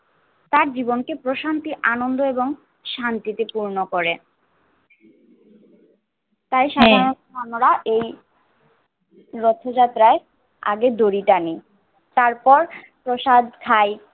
তার জীবনকে প্রশান্তি আনন্দ এবং শান্তিতে পূর্ণ করে তাই সাধারণত আমরা এই রথযাত্রায় আগে দড়ি টানি। তারপর প্রসাদ খাই